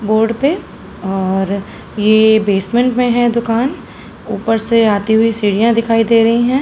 Board पे और ये बेसमेंट में है दुकान। ऊपर से आती हुई सीढ़ियां दिखाई दे रही हैं।